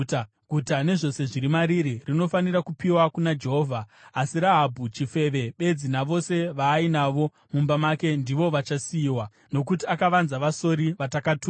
Guta nezvose zviri mariri rinofanira kupiwa kuna Jehovha. Asi Rahabhi chifeve bedzi navose vaainavo mumba make ndivo vachasiyiwa, nokuti akavanza vasori vatakatuma.